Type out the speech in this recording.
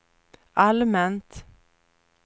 allmänt